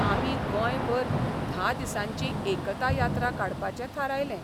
आमी गोंयभर धा दिसांची 'एकता यात्रा 'काडपाचें थारायलें.